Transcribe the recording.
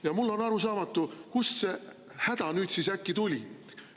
Ja mulle on arusaamatu, kust see häda nüüd äkki tuli.